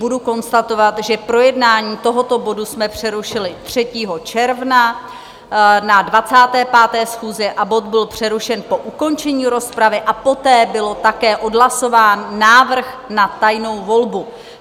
budu konstatovat, že projednání tohoto bodu jsme přerušili 3. června na 25. schůzi a bod byl přerušen po ukončení rozpravy a poté byl také odhlasován návrh na tajnou volbu.